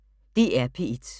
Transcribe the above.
DR P1